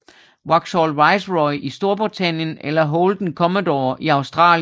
Vauxhall Viceroy i Storbritannien eller Holden Commodore i Australien